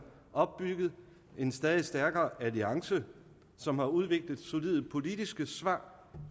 opbygget en stadig stærkere alliance som har udviklet solide politiske svar